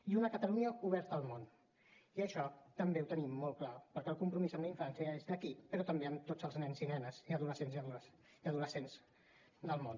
i una catalunya oberta al món i això també ho tenim molt clar perquè el compromís amb la infància és aquí però també amb tots els nens i nenes i adolescents del món